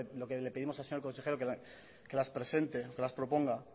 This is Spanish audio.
lo que le pedimos al señor consejero es que las presente que las proponga